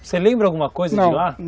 Você lembra alguma coisa de lá? Não.